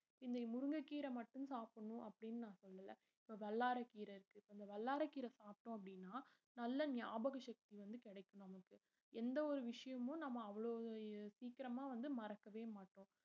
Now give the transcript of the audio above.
இந்த முருங்கைக்கீரை மட்டும் சாப்பிடணும் அப்படின்னு நான் சொல்லல இப்ப வல்லாரைக்கீரை இருக்கு இந்த வல்லாரைக்கீரை சாப்பிட்டோம் அப்படின்னா நல்ல ஞாபக சக்தி வந்து கிடைக்கும் நமக்கு எந்த ஒரு விஷயமும் நம்ம அவ்வளவு சீக்கிரமா வந்து மறக்கவே மாட்டோம்